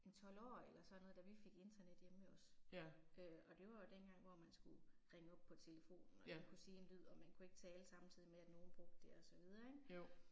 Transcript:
En 12 år eller sådan noget da vi fik internet hjemme ved os. Øh og det var jo dengang man skulle ringe op på telefonen og den kunne sige en lyd og man kunne ikke tale samtidig med at nogen brugte det og så videre ik